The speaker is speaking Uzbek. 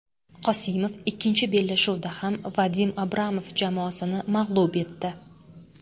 Qosimov ikkinchi bellashuvda ham Vadim Abramov jamoasini mag‘lub etdi.